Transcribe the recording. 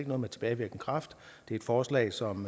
noget med tilbagevirkende kraft det er et forslag som